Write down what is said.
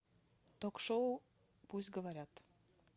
ток шоу пусть говорят